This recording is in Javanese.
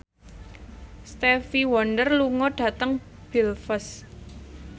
Stevie Wonder lunga dhateng Belfast